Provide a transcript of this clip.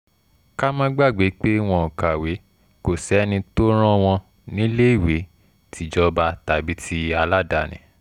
ká má gbàgbé pé wọn ò kàwé kò sẹ́ni tó rán wọn níléèwé tìjọba tàbí ti aládàáni